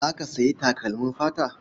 Za ka sayi takalmin fata?